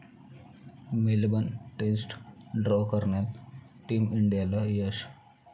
Melbourne test draw करण्यात team इंडियाला यश